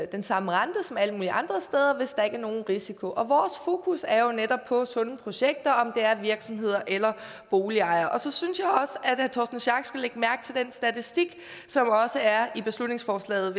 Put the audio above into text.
den samme rente som alle mulige andre steder hvis der ikke er nogen risiko vores fokus er jo netop på sunde projekter om det er virksomheder eller boligejere så synes at herre torsten schack pedersen skal lægge mærke til den statistik som også er i beslutningsforslaget